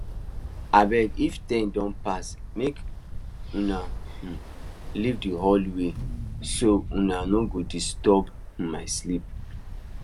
abeg if ten don pass make unna um leave the hallway so unna no go disturb um my sleep